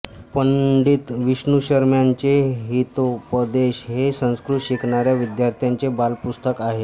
पंडित विष्णुशर्म्याचे हितोपदेश हे संस्कृत शिकणाऱ्या विद्यार्थ्यांचे बालपुस्तक आहे